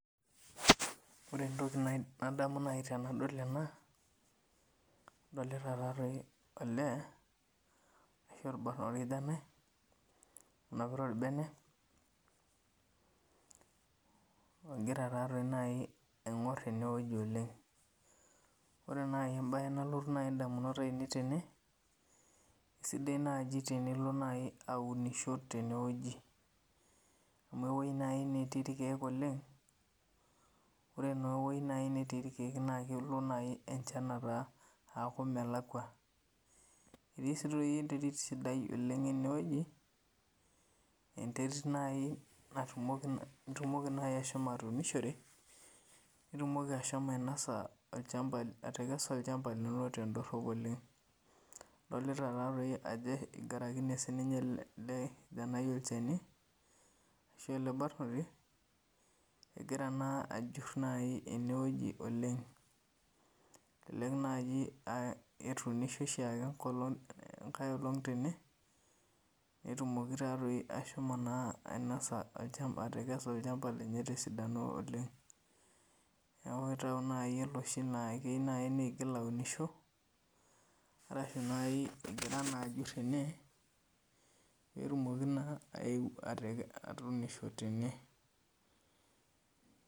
Ore entoki naid nadamu nai tenadol ena, adolita taa toi olee ashu orbano orkijanai onapita orbene ogira taa toi nai aing'or ene wueji oleng'. Ore nai embaye nalotu nai ndamunot ainei tene, sidai naaji tenilo nai aunisho tene woji amu ewoi nai natii erkeek oleng', ore naa ewoi nai natii irkeek naake elo nai enchan ataa aaku melakua. Etii sii toi enterit sidai oleng' ene wueji enterit nai narumoki nitumoki nai ashomo atuunishore, nitumoki ashomo ainosa olchamba atekesa olchamba lino tendorop oleng'. Adolita taa toi ajo igarakine sininye ele kijanai olchani ashu ele barnoti, egira naa ajur nai ene wueji oleng', elelek naaji aa etuniishe oshaake enkolong' enkae olong' tene netumoki taa toi ashomo naa ainasa olchamba atekesa olchamba lenye te sidano oleng'. Neeku naa itau nai oloshi naake keyiu nai niigil aunish arashu nai egira naa ajur ene peetumoki naa ayeu ateke atuunisho tene.